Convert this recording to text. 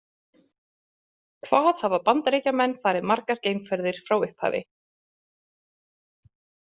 Hvað hafa Bandaríkjamenn farið margar geimferðir frá upphafi?